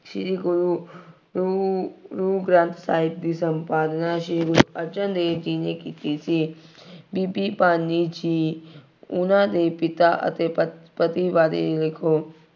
ਸ਼੍ਰੀ ਗੁਰੂ ਗੁਰੂ ਗ੍ਰੰਥ ਸਾਹਿਬ ਦੀ ਸੰਪਾਦਨਾ, ਸ਼੍ਰੀ ਗੁਰੂ ਅਰਜਨ ਦੇਵ ਜੀ ਨੇ ਕੀਤੀ ਸੀ। ਬੀਬੀ ਭਾਨੀ ਜੀ ਉਹਨਾ ਦੇ ਪਿਤਾ ਅਤੇ ਪਤੀ ਪਤੀ ਬਾਰੇ ਦੱਸੋ।